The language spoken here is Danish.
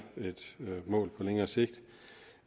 et mål på længere sigt